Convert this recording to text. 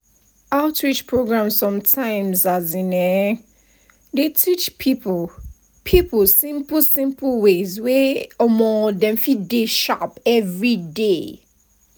outreach programs sometimes [um][um]dey teach people people simple simple ways wey um dem fit dey sharp everyday.